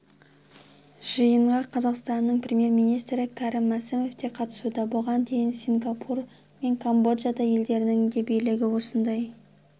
жиынға қазақстанның премьер-министрі кәрім мәсімов те қатысуда бұған дейін сингапур мен камбоджа елдерінің де билігі осындай